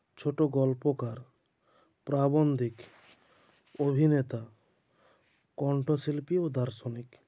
ছোটো গল্পকার প্রাবন্ধিক অভিনেতা কণ্ঠশিল্পী ও দার্শনিক